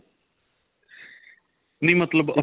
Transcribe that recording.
ਨਹੀ ਮਤਲੱਬ ਆਪਾਂ